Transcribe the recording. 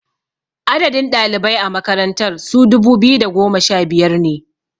Adadin ɗalibai a makarantar su dubu biyu da goma sha biyar ne